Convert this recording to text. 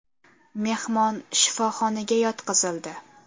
Mehmon shifoxonaga yotqizildi.